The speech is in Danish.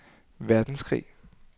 verdenskrig